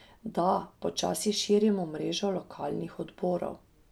Da, počasi širimo mrežo lokalnih odborov.